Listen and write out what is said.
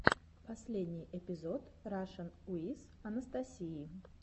последний эпизод рашн уиз анастасии